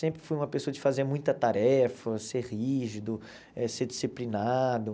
Sempre fui uma pessoa de fazer muita tarefa, ser rígido, eh ser disciplinado.